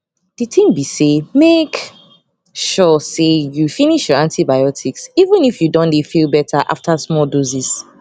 di tin be say make sure say you finish your antibiotics even if you don dey feel better after small doses